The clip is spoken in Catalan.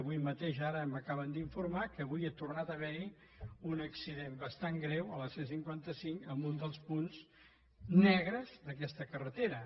avui mateix ara m’acaben d’informar que avui ha tornat a haver hi un accident bastant greu a la c cinquanta cinc en un dels punts negres d’aquesta carretera